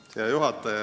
Hea juhataja!